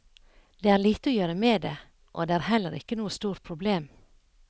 Det er lite å gjøre med det, og det er heller ikke noe stort problem.